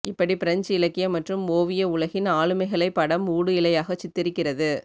இப்படிப் பிரெஞ்சு இலக்கியம் மற்றும் ஒவிய உலகின் ஆளுமைகளைப் படம் ஊடு இழையாகச் சித்தரிக்கிறது